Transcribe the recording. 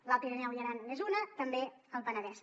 l’alt pirineu i aran n’és una també el penedès